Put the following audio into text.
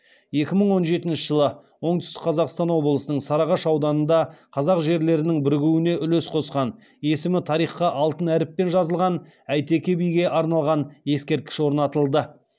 екі мың он жетінші жылы оңтүстік қазақстан облысының сарыағаш ауданында қазақ жерлерінің бірігуіне үлесін қосқан есімі тарихқа алтын әріппен жазылған әйтеке биге арналған ескерткіш орнатылды